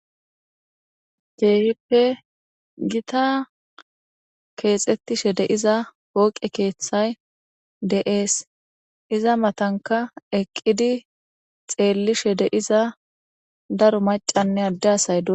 Keehippe gita keexettishe deiza wooqe keeththay de'ees iza matanka eqqidi xeellishe deiza daro macanne addeasay du.